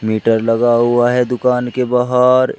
Heater लगा हुआ है दुकान के बाहर।